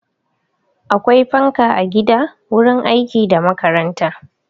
Akwai fanka a gida, wurin aiki da makaranta.